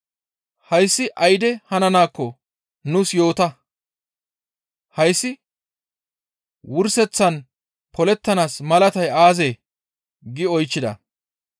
«Hayssi ayde hananaakko nuus yoota. Hayssi wurseththan polettanaas malatay aazee?» gi oychchida.